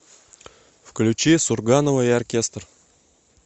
включи сурганова и оркестр